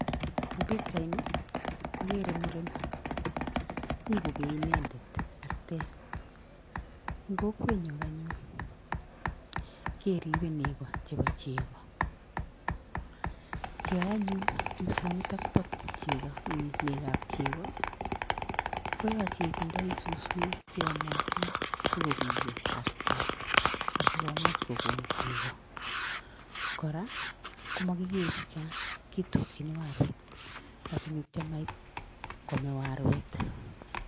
En pichaini ogere muren, mi kogee inendet artet. En kokwenyun anyun keribe nego chebo chego. Kiyoi anyun ripsonito bo negab chego, koyoche itindoi suswek cheyomotin asiko biyo artet asikomuch kogon chego, kora komakikei chechang kitukin arwet asigityo komait kome arwet.